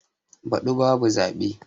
Baɗi ba bu zaɓe.